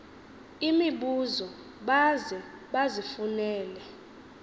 imibuzo baze bazifunele